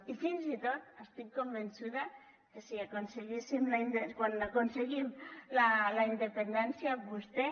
i fins i tot estic convençuda que si l’aconseguíssim quan aconseguim la independència vostè